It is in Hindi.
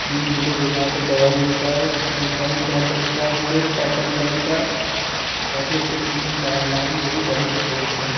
देख लो यहाॅं पर दवाई है शायद ये शर्ट पहन रखा है इन्होंने पर्पल कलर का और काफी अच्छे तरीके से डाल रहा है जो कि जड़ों तक पहुंच जाए।